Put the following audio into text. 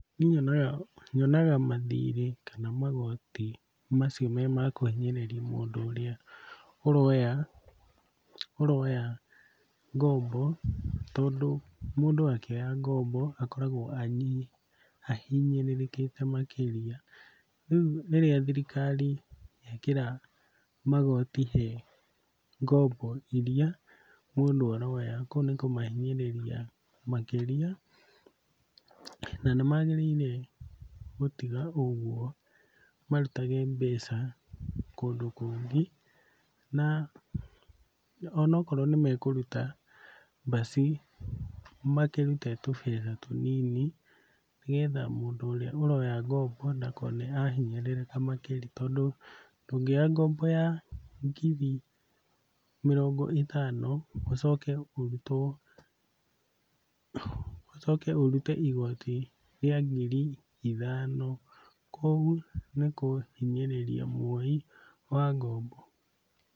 Niĩ nyonaga nyonaga mathirĩ kana magoti macio me ma kũhinyĩrĩria mũndũ ũrĩa ũroya ũroya ngombo tondũ mũndũ akĩoya ngombo akoragwo ahinyĩrĩrĩkĩte makĩria. Rĩu rĩrĩa thirikari yekĩra magoti he ngombo iria mũndũ aroya kũu nĩ kũmahinyĩrĩria makĩria na nĩmagĩrĩire gũtiga ũguo marutage mbeca kũndũ kũngĩ na onokorwo nĩmekũruta basi makĩrute tũbeca tũnini nĩgetha mũndũ ũrĩa ũroya ngombo ndakone ahinyĩrĩrĩka makĩria tondũ ndũngĩoya ngombo ya ngiri mĩrongo ĩtano ũcoke ũrutwo ũcoke ũrute igoti rĩa ngiri ithano, kũu nĩkũhinyĩrĩria mwoi wa ngombo.